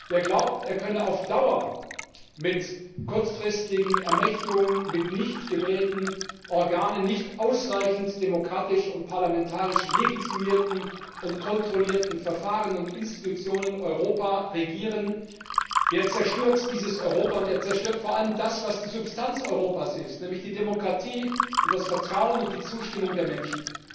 Wer glaubt, er könne auf Dauer mit kurzfristigen Ermächtigungen, mit nicht gewählten Organen, nicht ausreichend demokratisch und parlamentarisch legitimierten und kontrollierten Verfahren und Institutionen Europa regieren, der zerstört dieses Europa und vor allem das, was die Substanz Europas ist nämlich die Demokratie und das Vertrauen und die Zustimmung der Menschen.